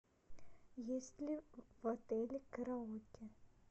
есть ли в отеле караоке